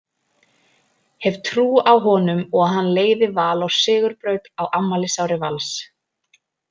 Hef trú á honum og hann leiði Val á sigurbraut á afmælisári Vals.